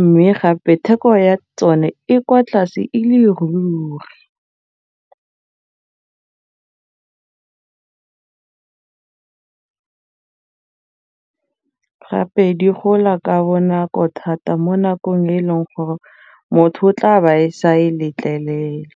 mme gape theko ya tsone e kwa tlase e le ruri gape di gola ka bonako thata mo nakong e e leng gore motho o tla ba e sa e letlelela.